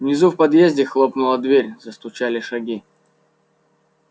внизу в подъезде хлопнула дверь застучали шаги